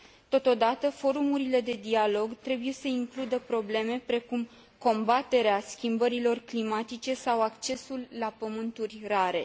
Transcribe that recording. Totodată, forumurile de dialog trebuie să includă probleme precum combaterea schimbărilor climatice sau accesul la pământuri rare.